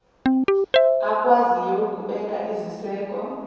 akwaziyo ukubeka iziseko